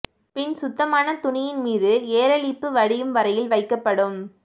பின் சுத்தமான துணியின் மீது ஏரலிப்பு வடியும் வரையில் வைக்கப்படும்